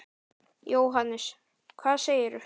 Jóhannes: Hvað segirðu?